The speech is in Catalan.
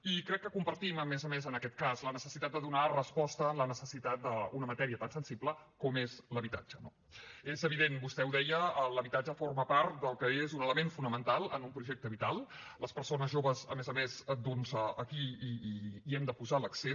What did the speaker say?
i crec que compartim a més a més en aquest cas la necessitat de donar resposta a la necessitat d’una matèria tan sensible com és l’habitatge no és evident vostè ho deia l’habitatge forma part del que és un element fonamental en un projecte vital en les persones joves a més a més doncs aquí hi hem de posar l’accent